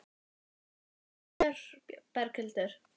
Er búið að vera fjör Berghildur?